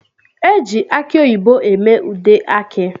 Eji aki oyibo eme ude aki.